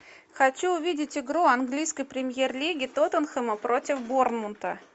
хочу увидеть игру английской премьер лиги тоттенхэма против борнмута